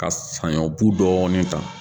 Ka sanɲɔ bu dɔɔnin ta